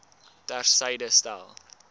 ter syde stel